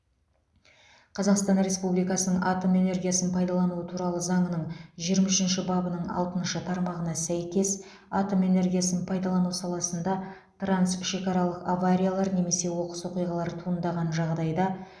қазақстан республикасының атом энергиясын пайдалану туралы заңының жиырма үшінші бабының алтыншы тармағына сәйкес атом энергиясын пайдалану саласында трансшекаралық авариялар немесе оқыс оқиғалар туындаған жағдайда